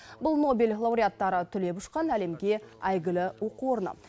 бұл нобель лауреаттары түлеп ұшқан әлемге әйгілі оқу орны